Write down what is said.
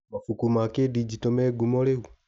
Mabuku ma kĩndinjito me ngumo rĩu?